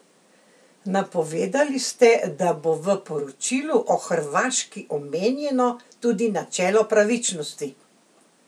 Napovedali ste, da bo v poročilu o Hrvaški omenjeno tudi načelo pravičnosti.